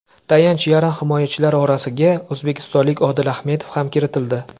Tayanch yarim himoyachilari orasiga o‘zbekistonlik Odil Ahmedov ham kiritildi.